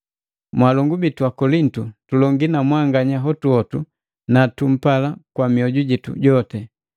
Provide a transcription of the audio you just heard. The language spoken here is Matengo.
Mwaalongu bitu Akolintu, tulongii na mwanganya hotuhotu na tumpala kwa mioju jitu joti.